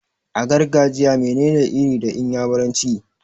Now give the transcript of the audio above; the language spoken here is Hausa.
A gargajiya mene ne 'Iri' da iyamuranci?